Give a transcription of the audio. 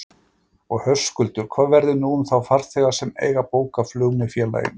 Og Höskuldur, hvað verður nú um þá farþega sem eiga bókað flug með félaginu?